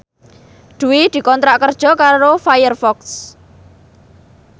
Dwi dikontrak kerja karo Firefox